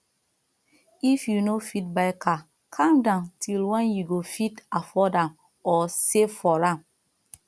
if you no fit buy car calm down till when you go fit afford am or save for am